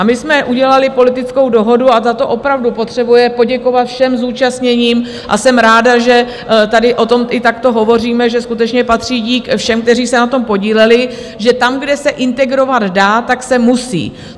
A my jsme udělali politickou dohodu - a za to opravdu potřebuje poděkovat všem zúčastněným, a jsem ráda, že tady o tom i takto hovoříme, že skutečně patří dík všem, kteří se na tom podíleli - že tam, kde se integrovat dá, tak se musí.